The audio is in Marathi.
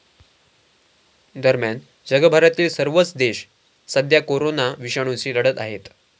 दरम्यान, जगभरातील सर्वच देश सध्या करोना विषाणूशी लढत आहेत.